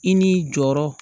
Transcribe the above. I n'i jɔyɔrɔ